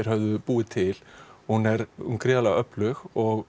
höfðu búið til hún er gríðarlega öflug og